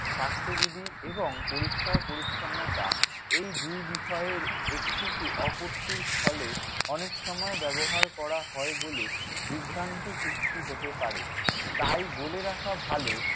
স্বাস্থ্যবিধি এবং পরিষ্কার-পরিচ্ছন্নতা এই দুই বিষয়ের একটিকে অপত্তির স্থলে অনেক সময় ব্যবহার করা হয় বলে বিভ্রান্তি সৃষ্টি হতে পারে। তাই বলে রাখা ভালো